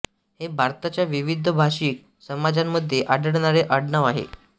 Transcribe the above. हे भारताच्या विविध भाषिक समाजांमध्ये आढळणारे आडनाव आहे